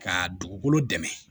Ka dugukolo dɛmɛ